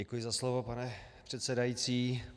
Děkuji za slovo, pane předsedající.